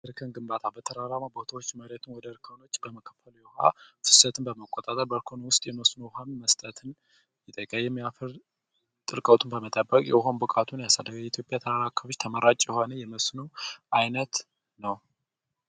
ድርቅን ጥበቃ በተራራማ ቦታ አካባቢዎች እርጥበትን በመቆጣጠር በእርሻ ውስጥ የመስኖ ውሃ መስጠት ይጠይቃል ይህም የአፈር ድርቀትን በመጠበቅ የውሃ ብቃቱን ያሳያል የኢትዮጵያ ተራራማ አካባቢዎች ተመራጭ የመስኖ አይነት ነው።